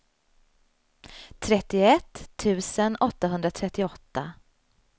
trettioett tusen åttahundratrettioåtta